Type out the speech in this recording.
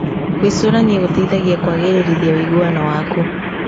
Gwĩcũrania gũteithagia kũagĩririthia ũiguano waku.